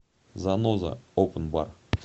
заноза опэн бар